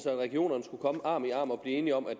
at regionerne skulle komme arm i arm og blive enige om at